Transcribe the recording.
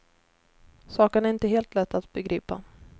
Saken är inte helt lätt att begripa.